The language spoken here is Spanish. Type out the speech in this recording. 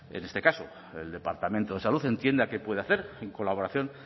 en este caso el departamento de salud entienda que puede hacer en colaboración